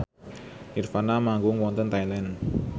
nirvana manggung wonten Thailand